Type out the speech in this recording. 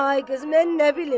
Ay qız, mən nə bilim.